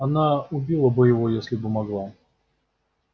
она убила бы его если бы могла